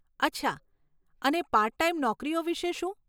અચ્છા, અને part time નોકરીઓ વિષે શું?